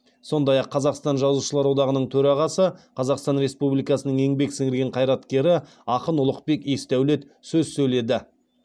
сондай ақ қазақстан жазушылар одағының төрағасы қазақстан республикасының еңбек сіңірген қайраткері ақын ұлықбек есдәулет сөз сөйледі